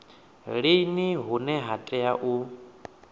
lini hune ha tea u